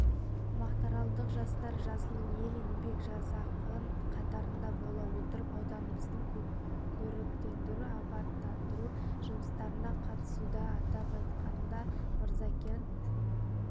мақтааралдық жастар жасыл ел еңбек жасағы қатарында бола отырып ауданымыздың көріктендіру-абаттандыру жұмыстарына қатысуда атап айтқанда мырзакент